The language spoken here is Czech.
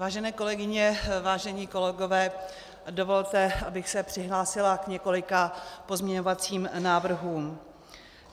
Vážené kolegyně, vážení kolegové, dovolte, abych se přihlásila k několika pozměňovacím návrhům.